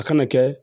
A kana kɛ